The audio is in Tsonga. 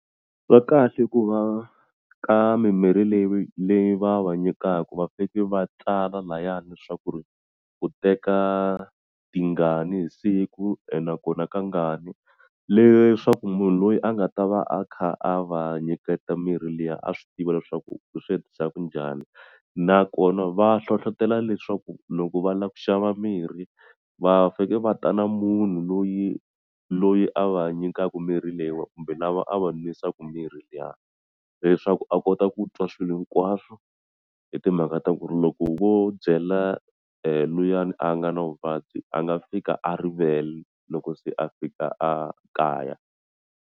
Va kahle ku va ka mimirhi leyi leyi va va nyikaku va fike va tsala lahayani swa ku ri u teka tingani hi siku ene nakona ka ngani leswaku munhu loyi a nga ta va a kha a va nyiketa mirhi liya a swi tiva leswaku u swi endlisa ku njhani nakona va hlohlotela leswaku loko va la ku xava mirhi va fe ke va ta na munhu loyi loyi a va nyikaku mirhi leyiwani kumbe lava a va nwisaku mirhi liya leswaku a kota ku twa swilo hinkwaswo hi timhaka ta ku ri loko vo byela luyani a nga na vuvabyi a nga fika a rivele loko se a fika a kaya.